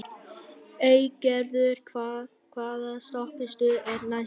Eygerður, hvaða stoppistöð er næst mér?